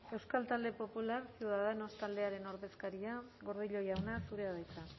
euskal talde popularrak ciudadanos taldearen ordezkaria gordillo jauna zurea da hitza